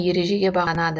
ережеге бағынады